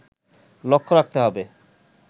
লক্ষ্য রাখতে হবে